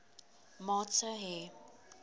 maat sou hê